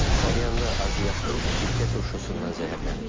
Salyanda azyaşlı sirkə turşusundan zəhərlənib.